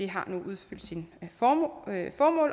har nu udtjent sit formål